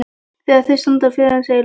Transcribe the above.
Þegar þau standa í fjörunni segir Lúna